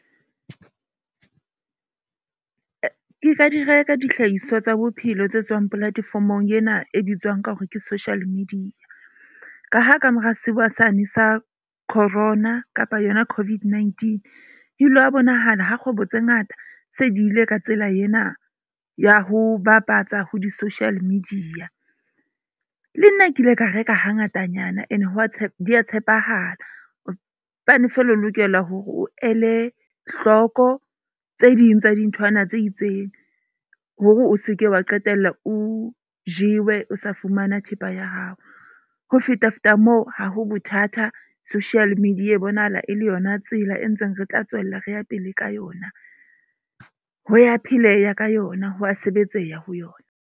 Ke ka di reka dihlahiswa tsa bophelo tse tswang platform-ong ena e bitswang ka hore ke social media. Ka ha kamora sewa sane sa Corona kapa yona COVID-19 ebile wa bonahala ha kgwebo tse ngata se di ile ka tsela yena ya ho ke bapatsa ho di-social media. Le nna ke ile ka reka hangatanyana. Ene hwa di ya tshepahala. Feela o lokela hore o ele hlooko tse ding tsa dinthwana tse ding. Hore o seke wa qetella o jewe o sa fumana thepa ya hao. Ho feta feta moo, ha ho bothata, social media e bonahala e le yona tsela e ntseng re tla tswella re ya pele ka yona. Ho ya pheleha ka yona ho a sebetseha ho yona.